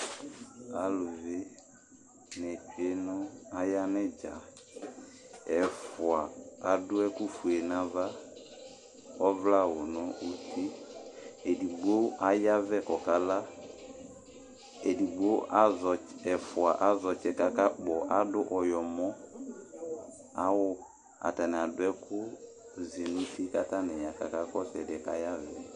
Aluvi dini aya nʋ idzaEfua adu ɛkʋfue nʋ ava, kʋ ɔvlɛ awu nʋ uti Edigbo ayavɛ, kʋ ɔkala Ɛfʋa azɛ ɔtsɛ kʋ akakpɔ, adu ɔyɔmɔawu Atani adu ɛkʋzinuti, kʋ aka kɔsʋ ɔlʋ yɛ kʋ ayavɛ yɛ